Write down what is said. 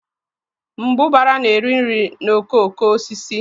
Mbụbara na-eri nri na okooko osisi